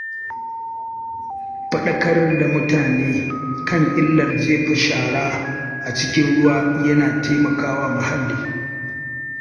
Fadaƙar da mutane kan illar jefar da shara a cikin ruwa yana taimakawa muhalli.